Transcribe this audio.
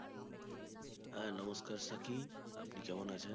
হ্যাঁ নমস্কার শাকিব আপনি কেমন আছেন